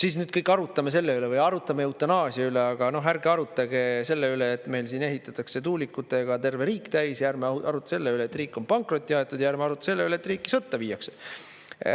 Siis nüüd kõik arutame selle üle või arutame eutanaasia üle, aga ärge arutage selle üle, et meil siin ehitatakse tuulikutega terve riik täis, ja ärme arutelu selle üle, et riik on pankrotti aetud, ja ärme arutame selle üle, et riiki sõtta viiakse.